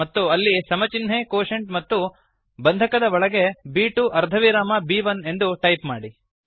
ಮತ್ತು ಅಲ್ಲಿ ಸಮ ಚಿನ್ಹೆ ಕ್ವೋಷೆಂಟ್ ಮತ್ತು ಬಂಧಕದ ಒಳಗೆ ಬ್2 ಅರ್ಧವಿರಾಮ ಬ್1 ಎಂದು ಟೈಪ್ ಮಾಡಿ